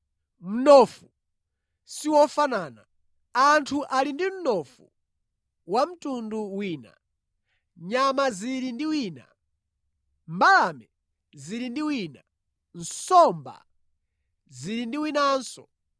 Mnofu siwofanana. Anthu ali ndi mnofu wa mtundu wina, nyama zili ndi wina, mbalame zili ndi wina, nsomba zili ndi winanso.